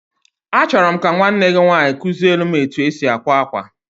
A chọrọ m ka nwanne gị nwaanyị kuziele m etu e si akwa akwa.